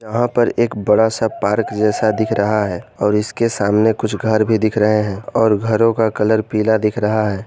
वहाँ पर एक बड़ा सा पार्क जैसा दिख रहा है और इसके सामने कुछ घर भी दिख रहे है और घरो का कलर पीला दिख रहा है।